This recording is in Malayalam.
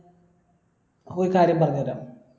ഒരു കാര്യം പറഞ്ഞരാ